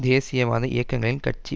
தேசியவாத இயக்கங்களின் கட்சி